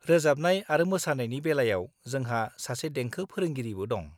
रोजाबनाय आरो मोसानायनि बेलायाव, जोंहा सासे देंखो फोरोंगिरिबो दं।